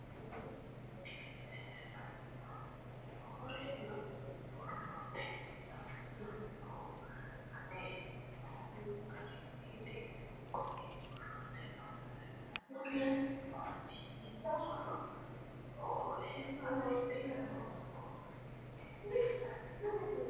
Tenne misile aana noore borroteni xawiseemohu aane noo gariniiti. Kunni borrote aana leelanori maati yiniro hoowe afirinokihu minni leelanni nooe.